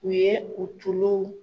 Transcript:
U ye u tulow